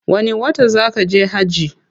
Wani wata zaa kaje hajji?